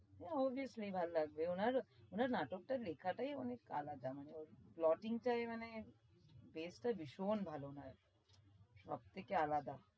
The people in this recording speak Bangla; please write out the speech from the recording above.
হ্যাঁ oviously ভাল লাগবে ওনার ওনার নাটকটার লেখাটাই অনেক আলাদা মানে ওর blogging টাই মানে best তো ভিশন ভাল লাগে সব থেকে আলাদা।